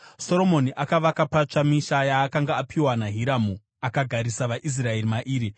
Soromoni akavaka patsva misha yaakanga apiwa naHiramu, akagarisa vaIsraeri mairi.